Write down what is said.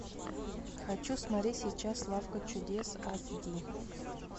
хочу смотреть сейчас лавка чудес эйч ди